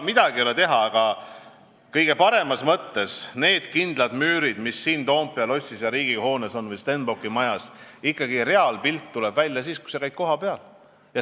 Midagi ei ole teha, aga kõige paremas mõttes on siin Toompea lossis ja Riigikogu hoones või Stenbocki majas kindlad müürid ning reaalpilt tuleb välja ikkagi siis, kui sa käid kohapeal.